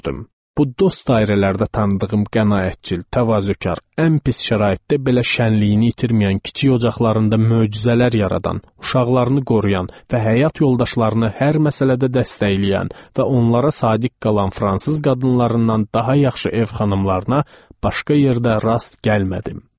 Bu dost dairələrdə tanıdığım qənaətcil, təvazökar, ən pis şəraitdə belə şənliyini itirməyən, kiçik ocaqlarında möcüzələr yaradan, uşaqlarını qoruyan və həyat yoldaşlarını hər məsələdə dəstəkləyən və onlara sadiq qalan fransız qadınlarından daha yaxşı ev xanımlarına başqa yerdə rast gəlmədim.